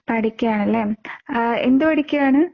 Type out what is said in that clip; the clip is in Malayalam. പഠിക്കാണ് ലെ. എന്ത് പഠിക്കാണ്?